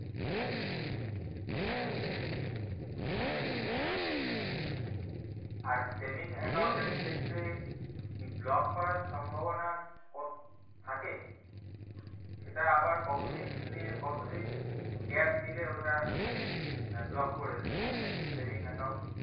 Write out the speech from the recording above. আর saving account এর ক্ষেত্রে কি block করার সম্ভবনা কত থাকে সেটা আবার কত দিনের দিন gap দিলে ওটা আহ block করে দেয় saving account